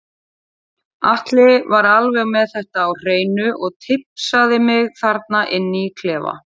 Atli var alveg með þetta á hreinu og tipsaði mig þarna inni í klefa.